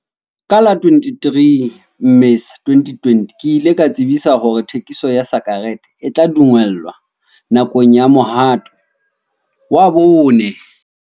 Ka la 23 Mmesa 2020, ke ile ka tsebisa hore thekiso ya sa-kerete e tla dumellwa nakong ya mohato wa bone.